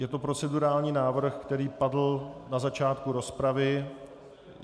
Je to procedurální návrh, který padl na začátku rozpravy.